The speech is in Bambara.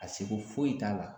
A seko foyi t'a la